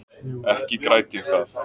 Ekki græt ég það.